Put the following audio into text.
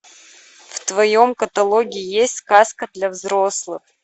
в твоем каталоге есть сказка для взрослых